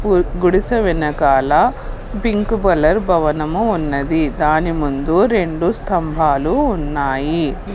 గు గుడిసె వెనకాల పింక్ పలర్ భవనము ఉన్నది దాని ముందు రెండు స్తంభాలు ఉన్నాయి.